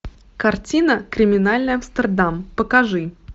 картина криминальный амстердам покажи